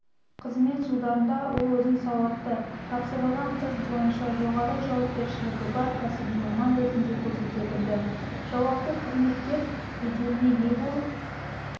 қызмет жылдарында ол өзін сауатты тапсырылған іс бойынша жоғары жауапкершілігі бар кәсіби маман ретінде көрсете білді жауапты қызметкер беделіне ие болып